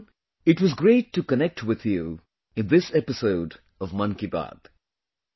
My dear countrymen, it was great to connect with you in this episode of Mann ki Baat